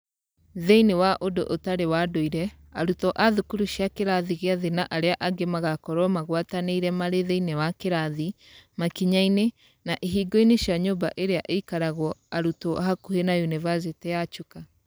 Thĩinĩ wa ũndũ ũtarĩ wa ndũire, arutwo a thukuru cia kĩrathi gĩa thĩ na arĩa angĩ magakorũo magwatanĩire marĩ thĩinĩ wa kĩrathi, makinya-inĩ, na ihingo-inĩ cia nyũmba ĩrĩa ĩikaragwo arutwo hakuhĩ na Yunivasĩtĩ ya Chuka.